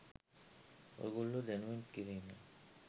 ඔයගොල්ලෝ දැනුවත් කිරීමයි.